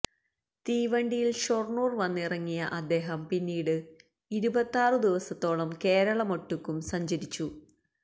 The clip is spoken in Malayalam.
തീവണ്ടിയിൽ ഷൊർണ്ണൂർ വന്നിറങ്ങിയ അദ്ദേഹം പിന്നീട് ഇരുപത്താറു ദിവസത്തോളം കേരളമൊട്ടുക്കും സഞ്ചരിച്ചു